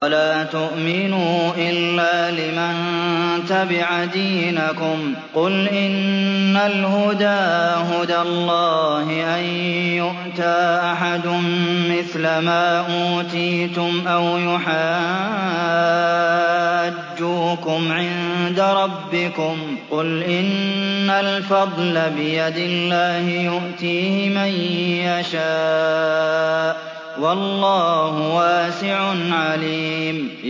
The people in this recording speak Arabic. وَلَا تُؤْمِنُوا إِلَّا لِمَن تَبِعَ دِينَكُمْ قُلْ إِنَّ الْهُدَىٰ هُدَى اللَّهِ أَن يُؤْتَىٰ أَحَدٌ مِّثْلَ مَا أُوتِيتُمْ أَوْ يُحَاجُّوكُمْ عِندَ رَبِّكُمْ ۗ قُلْ إِنَّ الْفَضْلَ بِيَدِ اللَّهِ يُؤْتِيهِ مَن يَشَاءُ ۗ وَاللَّهُ وَاسِعٌ عَلِيمٌ